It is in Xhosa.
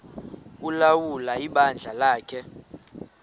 ulawula ibandla lakhe